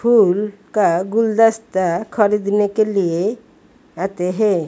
फूल का गुलदस्ता खरीदने के लिए आते है।